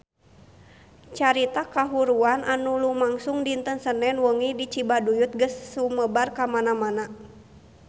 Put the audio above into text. Carita kahuruan anu lumangsung dinten Senen wengi di Cibaduyut geus sumebar kamana-mana